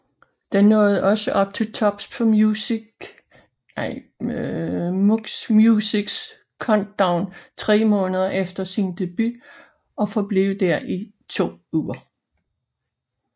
Den nåede også til tops på MuchMusics Countdown tre måneder efter sin debut og forblev der i to uger